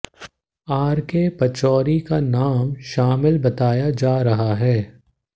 R K Pachauri का नाम शामिल बताया जा रहा है